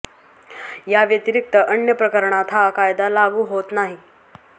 या व्यतिरिक्त अन्य प्रकरणात हा कायदा लागू होत नाही